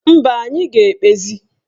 Mba, anyị ga-ekpezi